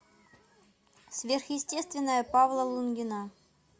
сверхъестественное павла лунгина